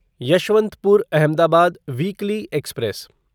Yesvantpur Ahmedabad weekly express